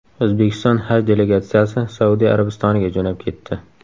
O‘zbekiston haj delegatsiyasi Saudiya Arabistoniga jo‘nab ketdi.